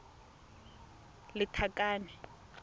lethakane